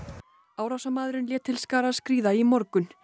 árásarmaðurinn lét til skarar skríða í morgun